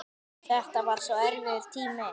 Þetta var svo erfiður tími.